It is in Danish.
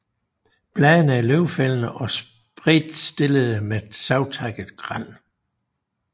Bladene er løvfældende og spredtstillede med savtakket rand